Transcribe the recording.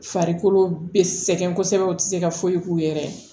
Farikolo be sɛgɛn kosɛbɛ u te se ka foyi k'u yɛrɛ ye